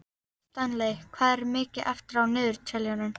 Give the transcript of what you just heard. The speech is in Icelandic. Stanley, hvað er mikið eftir af niðurteljaranum?